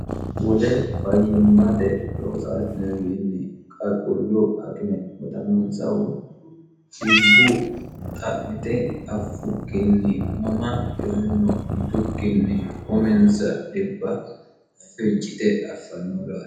wole fayyimmate loosaaltnewiinni qaqulluu akime bodannoomsahu dhibbu xa'mite affukkinni mama dhiyonno yitukkinni huminsa dhibba fejjite affannoorae